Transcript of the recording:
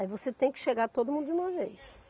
Aí você tem que chegar todo mundo de uma vez.